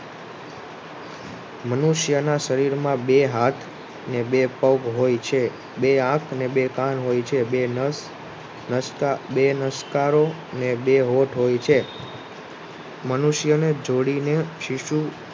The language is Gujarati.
મનુષ્યના શરીરમાં બેહાથ ને બે પગ હોય છે. બે આંખને બે કાન હોય છે. બે નશકારો ને બે હોઠ હોય છે. મનુષ્યને જોડીને શિશુ